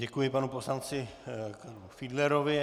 Děkuji panu poslanci Fiedlerovi.